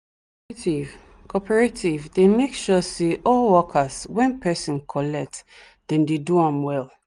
the cooperative cooperative dey make sure say all workers wen person collect dem dey do them well